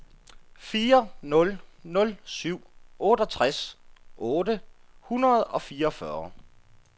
fire nul nul syv otteogtres otte hundrede og fireogfyrre